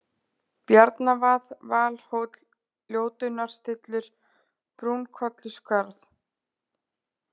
Bjarnavað, Valhóll, Ljótunnarstillur, Brúnkolluskarð